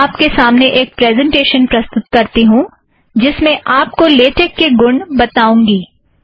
अब मैं आप के सामने एक प्रेज़ेंटेशन प्रस्तुत करती हूँ जिसमें मैं आप को लेटेक के गुण बताऊँगी